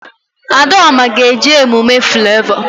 Adaoma ga-eje emume Flavọ